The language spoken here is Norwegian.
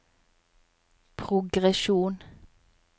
progresjon